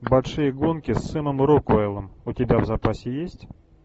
большие гонки с сэмом рокуэллом у тебя в запасе есть